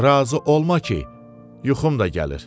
Razı olma ki, yuxum da gəlir.